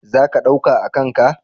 Za ka ɗauka a kan ka?